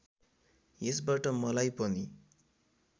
यसबाट मलाई पनि